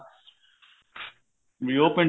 ਵੀ ਉਹ ਪਿੰਡ